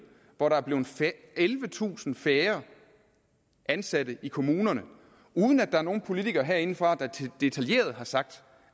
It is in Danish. hvor der er blevet ellevetusind færre ansatte i kommunerne uden at der er nogle politikere herindefra der detaljeret har sagt